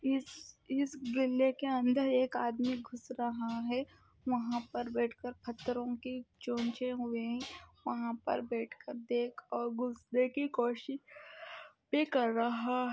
इस-इस गिले के अंदर एक आदमी घुस रहा है। वहाँ पर बैठ कर खतोरो के चोंचे हुए है। वहाँ पर बैठ कर देख और घुसने की कोशिश भी कर रहा --